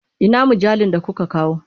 Ina mujallun da kuka kawo?